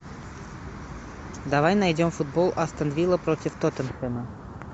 давай найдем футбол астон вилла против тоттенхэма